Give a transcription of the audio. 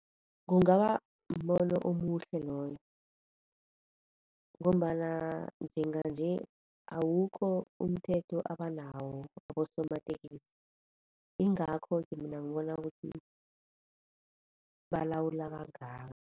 Kungaba mbono omuhle loyo ngombana njenganje awukho umthetho abanawo abosomatekisi, ingakho-ke mina ngibona ukuthi balawula kangaka.